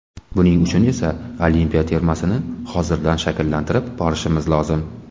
Buning uchun esa olimpiya termasini hozirdan shakllantirib borishimiz lozim.